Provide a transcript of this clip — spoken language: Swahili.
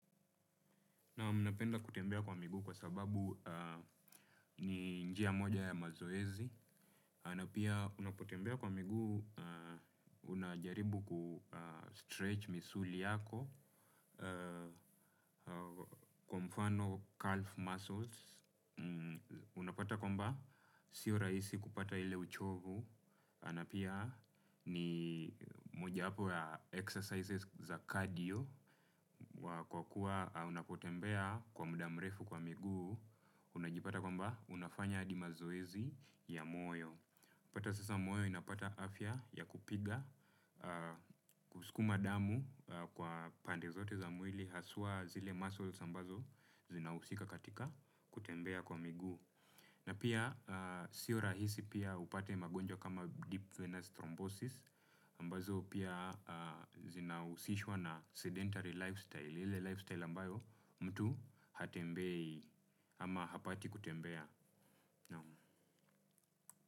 Naam napenda kutembea kwa miguu kwa sababu eeeh ni njia moja ya mazoezi. Na pia unapotembea kwa miguu unajaribu kustretch misuli yako eeh kwa mfano calf muscles mmmh. Unapata kwamba si rahisi kupata ile uchovu. Na pia ni moja yapo ya exercises za cardio. Kwa kuwa unapotembea kwa muda mrefu kwa miguu, unajipata kwamba unafanya hadi mazoezi ya moyo. Unapata sasa moyo inapata afya ya kupiga, kusukuma damu kwa pande zote za mwili, haswa zile muscles ambazo zinahusika katika kutembea kwa miguu. Na pia sio rahisi pia upate magonjwa kama deep fenasthrobosis ambazo pia zinahusishwa na sedentary lifestyle ile lifestyle ambayo mtu hatembei ama hapati kutembea.